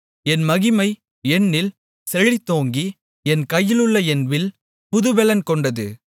என் மகிமை என்னில் செழித்தோங்கி என் கையிலுள்ள என் வில் புதுப்பெலன் கொண்டது